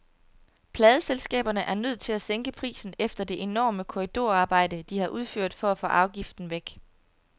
Pladeselskaberne er nødt til at sænke prisen efter det enorme korridorarbejde, de har udført for at få afgiften væk.